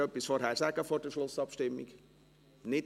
Will jemand vor der Schlussabstimmung noch etwas sagen?